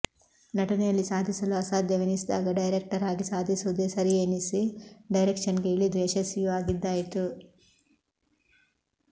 ನಟನೆಯಲ್ಲಿ ಸಾಧಿಸಲು ಅಸಾಧ್ಯವೆನಿಸಿದಾಗ ಡೈರೆಕ್ಟರ್ ಆಗಿ ಸಾಧಿಸುವುದೇ ಸರಿಯೇನಿಸಿ ಡೈರೆಕ್ಷನ್ಗೆ ಇಳಿದು ಯಶಸ್ವಿಯೂ ಆಗಿದ್ದಾಯಿತು